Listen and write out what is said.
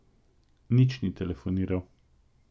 Nič ni telefoniral.